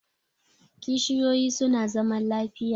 Kishiyoyi su na zaman lafiya